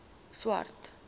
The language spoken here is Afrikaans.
swart